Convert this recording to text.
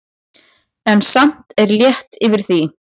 En samt er létt yfir því.